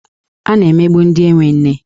A na-emegbu ndị enwe nne.